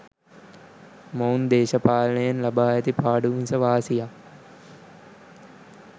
මොවුන් දේශපාලනයෙන් ලබා ඇති පාඩු මිස වාසියක්